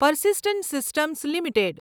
persistent Systems limited